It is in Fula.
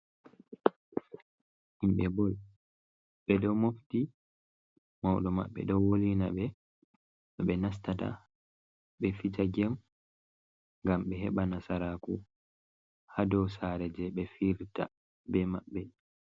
Himɓe bol, ɓe ɗo mofti mauɗo maɓɓe ɗo wolina no ɓe nastata ɓe fijagem, ngam ɓe heɓa nasaraku haa dow saare je ɓe fi'ita be maɓɓe.